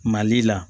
Mali la